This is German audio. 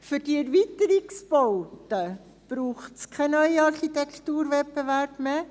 Für die Erweiterungsbauten braucht es keinen neuen Architekturwettbewerb mehr.